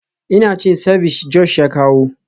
Ina cin ceviche Josh ya kawo.